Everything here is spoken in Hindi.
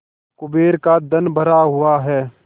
कुबेर का धन भरा हुआ है